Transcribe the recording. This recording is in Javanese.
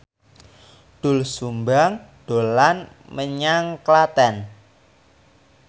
Doel Sumbang dolan menyang Klaten